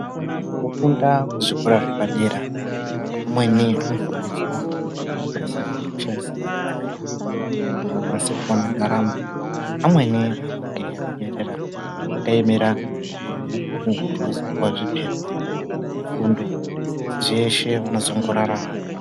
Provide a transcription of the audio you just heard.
Mukufunda kuzvikora zvepadera, amweni andofundiswa mabasa yekushandisa nyara dzavo kuti vakwanise kuwana ndaramo. Amweni anenge eiemera zvibhuku kuti vazopuwe zvipepa zvefundo. Zveshe vanongozorarama.